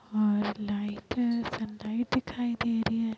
और light sunlight दिखाई दे रही है।